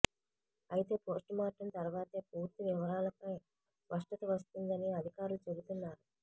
అయితే పోస్టుమార్టం తర్వాతే పూర్తి వివరాలపై స్పష్టత వస్తుందని అధికారులు చెబుతున్నారు